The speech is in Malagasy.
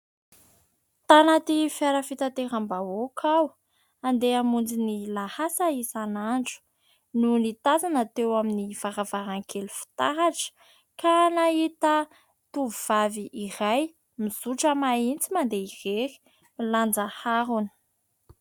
Tanaty fiara fitateram-bahoaka aho, handeha hamonjy ny lahasa isanandro, no nitazana teo amin'ny varavarankely fitaratra ka nahita tovovavy iray mizotra mahitsy mandeha irery, milanja harona.